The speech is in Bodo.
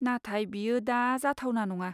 नाथाय बेयो दा जाथावना नङा।